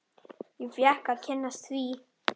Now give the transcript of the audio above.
Ég fékk að kynnast því.